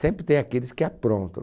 Sempre tem aqueles que aprontam.